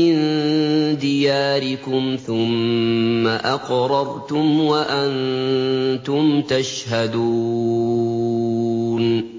مِّن دِيَارِكُمْ ثُمَّ أَقْرَرْتُمْ وَأَنتُمْ تَشْهَدُونَ